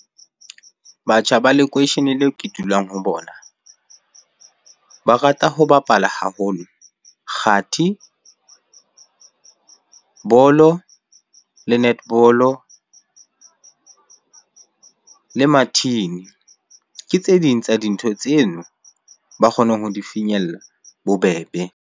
Batjha ba lekweisheneng leo ke dulang ho bona. Ba rata ho bapala haholo kgathi, bolo, le netball le mathini. Ke tse ding tsa dintho tseno ba kgonang ho di finyella bobebe.